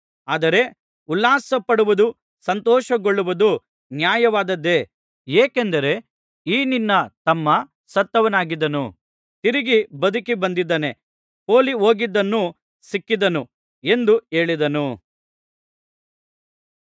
ಆದರೆ ಉಲ್ಲಾಸಪಡುವುದೂ ಸಂತೋಷಗೊಳ್ಳುವುದೂ ನ್ಯಾಯವಾದದ್ದೇ ಏಕೆಂದರೆ ಈ ನಿನ್ನ ತಮ್ಮ ಸತ್ತವನಾಗಿದ್ದನು ತಿರುಗಿ ಬದುಕಿ ಬಂದಿದ್ದಾನೆ ಪೋಲಿಹೋಗಿದ್ದನು ಸಿಕ್ಕಿದನು ಎಂದು ಹೇಳಿದನು